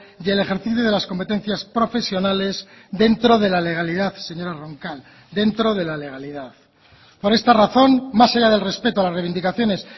y el ejercicio de las competencias profesionales dentro de la legalidad señora roncal dentro de la legalidad por esta razón más allá del respeto a las reivindicaciones